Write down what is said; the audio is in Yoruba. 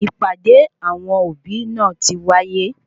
Ìpàdé awọn òbí náà tí wáyé